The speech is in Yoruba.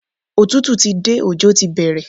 Òtútù ti dé, ọjọ́ ti bẹ̀rẹ̀.